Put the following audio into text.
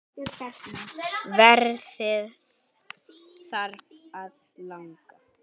Veðrið þarf að laga.